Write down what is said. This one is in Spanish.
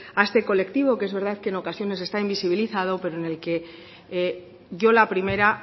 de este colectivo que es verdad que en ocasiones está invisibilizado pero en el que yo la primera